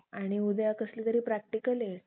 आणि उद्या कसलीतरी प्रॅक्टिकलहे